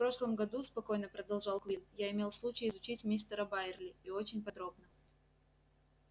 в прошлом году спокойно продолжал куинн я имел случай изучить мистера байерли и очень подробно